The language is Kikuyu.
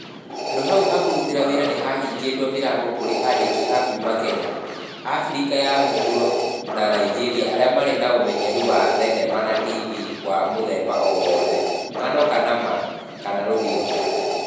Handũ hau ha kũrutĩra wĩra nĩ hahingũrĩte mĩrango kũrĩ andĩki a kuuma Kenya, abirika ya mũhuro na Nigeria arĩa marĩ na ũmenyeru wa thenema na tv wa mũthemba o wothe (ng'ano kana ma) kana rũthiomi.